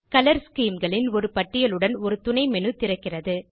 colour scheme களின் ஒரு பட்டியலுடன் ஒரு துணை மேனு திறக்கிறது